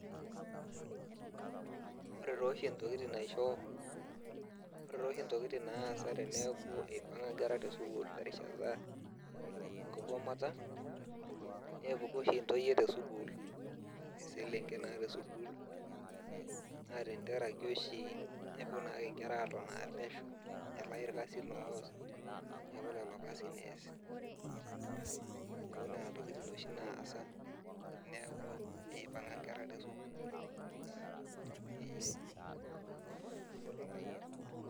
Ore toshi ntokiting naisho, ore toshi ntokiting naasa teneeku ipang'a nkera tesukuul terishata enkigomata, nepuku oshi ntoyie tesukuul iselenken naa tesukuul, na tentaraki oshi kepuo nake nkera atonaa pesho, nelayu irkasin loos, neeku lolo kasin ees. Neeku nena tokiting oshi naasa, neeku ipang'a nkera tesukuul, ee.